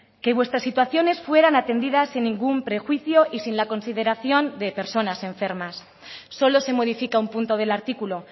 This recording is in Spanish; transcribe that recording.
que vuestras situaciones fueran atendidas sin ningún prejuicio y sin la consideración de personas enfermas solo se modifica un punto del artículo